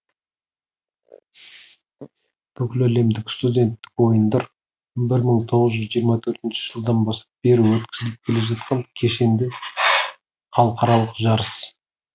бүкіләлемдік студенттік ойындар бір мың тоғыз жүз жиырма төртінші жылдан бері өткізіліп келе жаткан кешеңді халықаралық жарыс